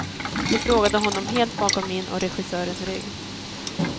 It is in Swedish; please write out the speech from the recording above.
De frågade honom helt bakom min och regissörens rygg.